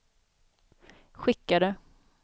skickade